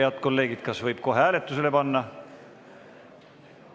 Head kolleegid, kas võib kohe hääletusele panna?